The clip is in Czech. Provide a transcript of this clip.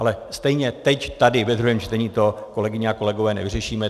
Ale stejně teď tady ve druhém čtení to, kolegové a kolegyně, nevyřešíme.